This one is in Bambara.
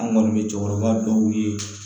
An kɔni bɛ cɛkɔrɔba dɔw ye